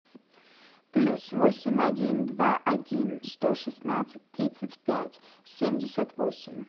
плюс восемь один два один сто шестнадцать тридцать пять семьдесят восемь